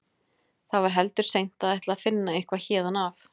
Það var heldur seint að ætla að finna eitthvað héðan af.